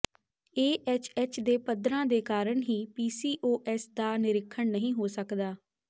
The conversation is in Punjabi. ਏ ਐੱਚ ਐੱਚ ਦੇ ਪੱਧਰਾਂ ਦੇ ਕਾਰਨ ਹੀ ਪੀਸੀਓਐਸ ਦਾ ਨਿਰੀਖਣ ਨਹੀਂ ਹੋ ਸਕਦਾ